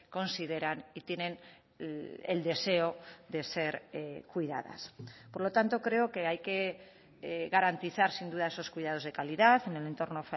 consideran y tienen el deseo de ser cuidadas por lo tanto creo que hay que garantizar sin duda esos cuidados de calidad en el entorno